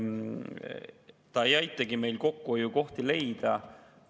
Ta ei aitagi meil kokkuhoiukohti leida.